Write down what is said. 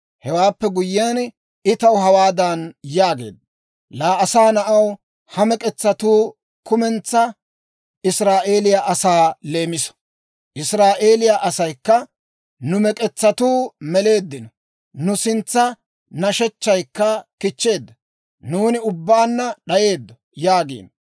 Hewaappe guyyiyaan, I taw hawaadan yaageedda; «Laa asaa na'aw, ha mek'etsatuu kumentsaa Israa'eeliyaa asaa leemiso; Israa'eeliyaa asaykka, ‹Nu mek'etsatuu meleeddino; nu sintsa nashechchaykka kichcheedda; nuuni ubbaanna d'ayeeddo› yaagiino.